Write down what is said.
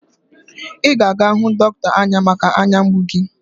Ị ga-aga hụ dọkịnta anya maka anya mgbu gi